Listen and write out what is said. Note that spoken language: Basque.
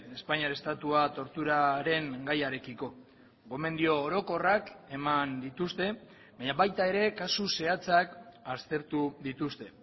espainiar estatua torturaren gaiarekiko gomendio orokorrak eman dituzte baina baita ere kasu zehatzak aztertu dituzte